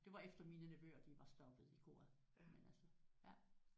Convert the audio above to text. Det var efter mine nevøer de var stoppet i koret men altså